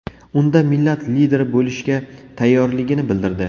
Unda millat lideri bo‘lishga tayyorligini bildirdi.